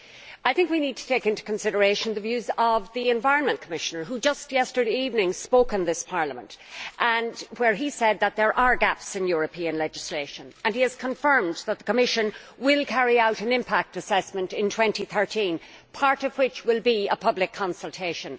I think we need to take into consideration the views of the Commissioner for the Environment, who just yesterday evening spoke in this Parliament He said that there are gaps in European legislation and he confirmed that the Commission will carry out an impact assessment in 2013 part of which will be a public consultation.